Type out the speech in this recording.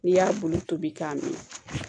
N'i y'a bulu tobi k'a minɛ